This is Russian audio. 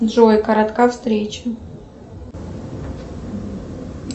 джой коротка встреча